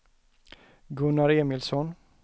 Gunnar Emilsson